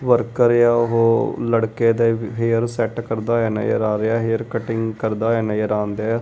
Worker ਏ ਆ ਉਹ ਲੜਕੇ ਦੇ ਹੇਅਰ ਸੈੱਟ ਕਰਦਾ ਹੋਇਆ ਨਜ਼ਰ ਆ ਰਿਹੈ ਹੇਅਰ ਕਟਿੰਗ ਕਰਦਾ ਹੋਇਆ ਨਜ਼ਰ ਆਣਦਿਐ।